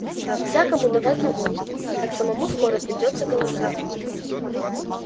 всякому давать на водку так самому скоро придётся голодать